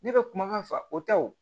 Ne bɛ kumakan fa o ta wo